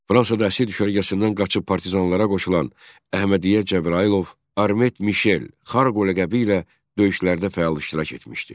Fransada əsir düşərgəsindən qaçıb partizanlara qoşulan Əhmədiyyə Cəbrayılov Armet Mişel Xarqol ləqəbi ilə döyüşlərdə fəal iştirak etmişdi.